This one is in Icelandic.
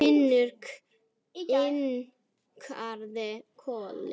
Finnur kinkaði kolli.